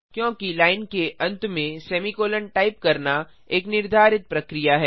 चूँकि लाइन के अंत में सेमीकोलों टाइप करना एक निर्धारित प्रक्रिया है